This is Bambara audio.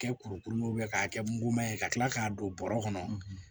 Kɛ kurukuru k'a kɛ muguma ye ka kila k'a don bɔrɔ kɔnɔ